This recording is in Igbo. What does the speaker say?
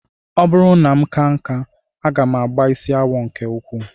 Ọ bụrụ na m kaa nkà, aga m agba isi awọ nke ukwuu